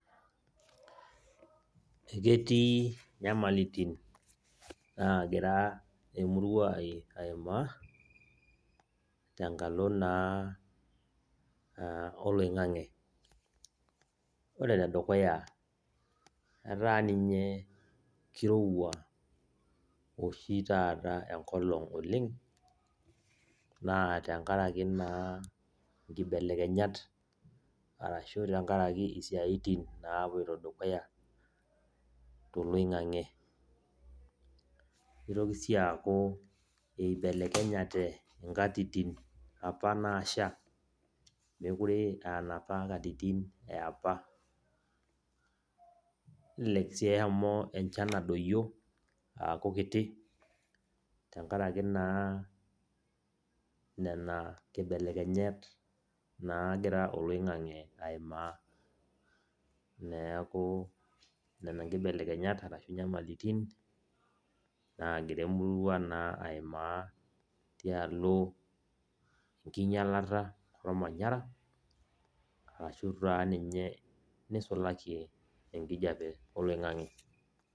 Eketii nyamalitin nagira emurua ai aimaa, tenkalo naa oloing'ang'e. Ore enedukuya, etaa ninye kirowua oshi taata enkolong oleng, naa tenkaraki naa nkibelekenyat arashu tenkaraki isiaitin napoito dukuya toloing'ang'e. Itoki si aku, ibelekenyate inkatitin apa nasha, mekure anapa katitin eapa. Nelelek si eshomo enchan adoyio aaku kiti, tenkaraki naa nena kibelekenyat nagira oloing'ang'e aimaa. Neeku, nena nkibelekenyat arashu nyamalitin, nagira emurua naa aimaa tialo enkinyalata ormanyara, arashu taa ninye nisulaki enkijape oloing'ang'e.